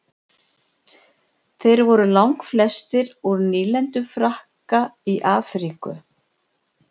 þeir voru langflestir úr nýlendum frakka í afríku